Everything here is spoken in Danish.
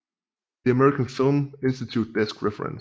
The American Film Institute Desk Reference